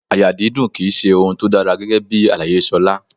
Àyà dídùn ki í ṣe ohun tó dára rárá gẹ́gẹ́bí àlàyé Ṣolá.